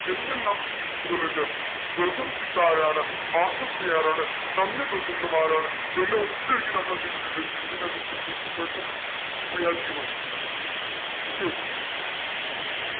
എന്തെല്ലാം speech കളുണ്ട് welcome speech ആരാണ് ആശംസ ആരാണ് നന്ദി പ്രസംഗം ആരാണ് എല്ലു ഒക്കയാക്കി നമ്മൾ എന്തേയിതിട്ടുണ്ട് ഇങ്ങനെ നമ്മൾ okay